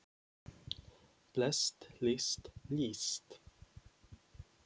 lest list líst